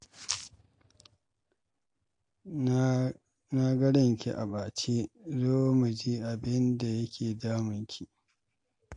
Na na ga ranki a ɓace zo mu ji abin da yake damun ki.